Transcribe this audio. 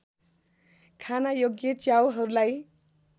खान योग्य च्याउहरूलाई